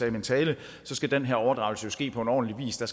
i min tale skal den her overdragelse jo ske på ordentlig vis og